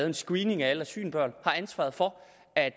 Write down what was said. en screening af alle asylbørn og ansvaret for